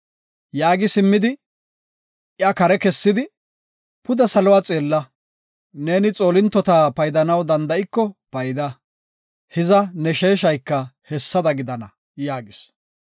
Yaagi simmidi iya kare kessidi, “Pude salo xeella, neeni xoolintota paydanaw danda7iko payda, hiza ne sheeshayka hessada gidana” yaagis.